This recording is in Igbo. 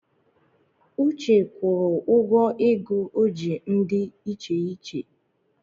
Uche gwuru ụgọ ego o ji ndi icheiche